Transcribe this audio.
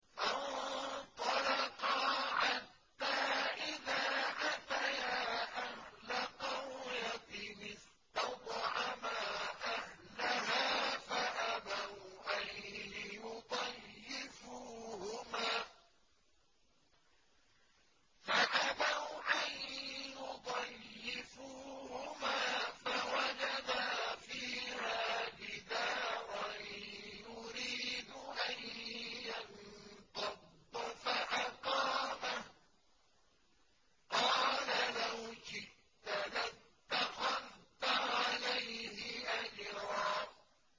فَانطَلَقَا حَتَّىٰ إِذَا أَتَيَا أَهْلَ قَرْيَةٍ اسْتَطْعَمَا أَهْلَهَا فَأَبَوْا أَن يُضَيِّفُوهُمَا فَوَجَدَا فِيهَا جِدَارًا يُرِيدُ أَن يَنقَضَّ فَأَقَامَهُ ۖ قَالَ لَوْ شِئْتَ لَاتَّخَذْتَ عَلَيْهِ أَجْرًا